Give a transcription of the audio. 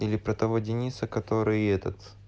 или про того дениса который этот